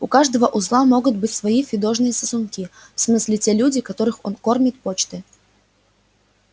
у каждого узла могут быть свои фидошные сосунки в смысле те люди которых он кормит почтой